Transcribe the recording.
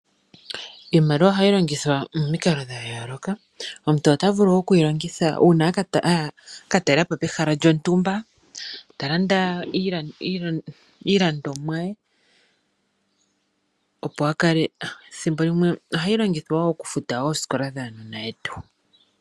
Iimaliwa ohayi longithwa momikalo dha yooloka. Omuntu ota vulu okuyi longitha uuna a ka talelapo pehala lyontumba ta landa iilandomwa ye, ethimbo limwe ohayi longithwa okufuta oosikola dhuunona wetu.